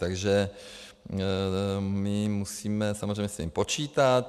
Takže my musíme samozřejmě s tím počítat.